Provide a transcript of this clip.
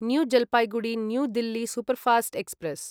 new Jalpaiguri new Delhi superfast express